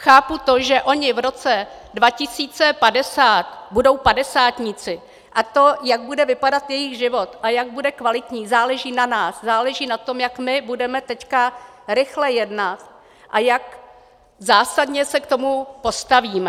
Chápu to, že oni v roce 2050 budou padesátníci, a to, jak bude vypadat jejich život a jak bude kvalitní, záleží na nás, záleží na tom, jak my budeme teď rychle jednat a jak zásadě se k tomu postavíme.